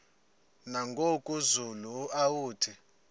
nangoku zulu uauthi